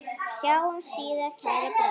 Sjáumst síðar, kæri bróðir.